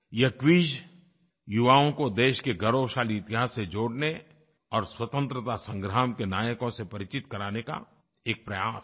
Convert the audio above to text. यह क्विज युवाओं को देश के गौरवशाली इतिहास से जोड़ने और स्वतंत्रता संग्राम के नायकों से परिचित कराने का एक प्रयास है